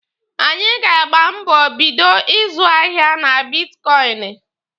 Anyị ga-agba mbọ bido ịzụ ahịa na bitkọịnị.